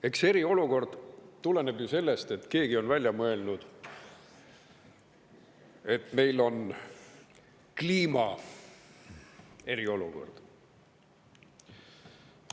Eks eriolukord tuleneb ju sellest, et keegi on välja mõelnud, et meil on kliimast eriolukord.